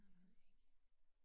Det ved jeg ikke